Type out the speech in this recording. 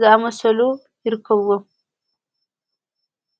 ዝኣመሰሉ ይርክብዎ።